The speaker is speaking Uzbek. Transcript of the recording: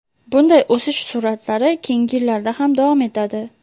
Bunday o‘sish sur’atlari keyingi yillarda ham davom etadi.